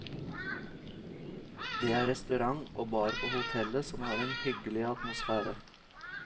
Det er restaurant og bar på hotellet som har en hyggelig atmosfære.